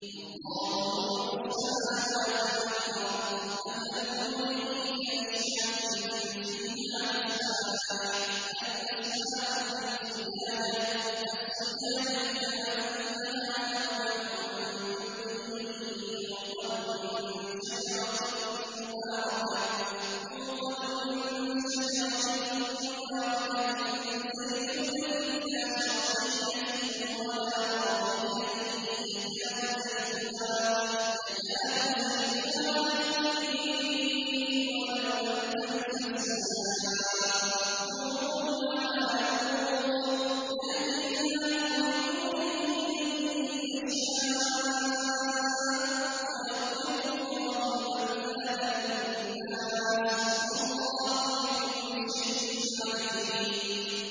۞ اللَّهُ نُورُ السَّمَاوَاتِ وَالْأَرْضِ ۚ مَثَلُ نُورِهِ كَمِشْكَاةٍ فِيهَا مِصْبَاحٌ ۖ الْمِصْبَاحُ فِي زُجَاجَةٍ ۖ الزُّجَاجَةُ كَأَنَّهَا كَوْكَبٌ دُرِّيٌّ يُوقَدُ مِن شَجَرَةٍ مُّبَارَكَةٍ زَيْتُونَةٍ لَّا شَرْقِيَّةٍ وَلَا غَرْبِيَّةٍ يَكَادُ زَيْتُهَا يُضِيءُ وَلَوْ لَمْ تَمْسَسْهُ نَارٌ ۚ نُّورٌ عَلَىٰ نُورٍ ۗ يَهْدِي اللَّهُ لِنُورِهِ مَن يَشَاءُ ۚ وَيَضْرِبُ اللَّهُ الْأَمْثَالَ لِلنَّاسِ ۗ وَاللَّهُ بِكُلِّ شَيْءٍ عَلِيمٌ